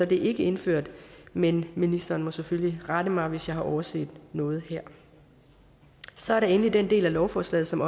det ikke indført men ministeren må selvfølgelig rette mig hvis jeg har overset noget her så er der endelig den del af lovforslaget som